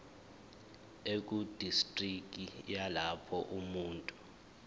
ekudistriki yalapho umuntu